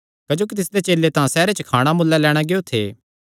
क्जोकि तिसदे चेले तां सैहरे च खाणा मुल्ले लैणां गियो थे